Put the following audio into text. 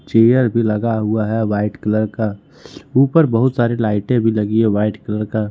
Chair भी लगा हुआ है व्हाइट कलर का ऊपर बहुत सारे लाइटे भी लगी व्हाइट कलर का।